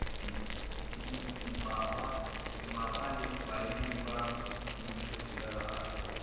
dimmapa le baemedi ba mmušoselegae